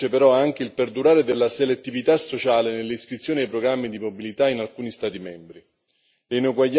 Dallo studio emerge però anche il perdurare della selettività sociale nell'iscrizione ai programmi di mobilità in alcuni Stati membri.